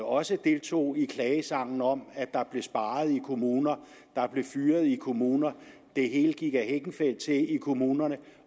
også deltog i klagesangen om at der blev sparet i kommunerne der blev fyret i kommunerne det hele gik ad hekkenfeldt til i kommunerne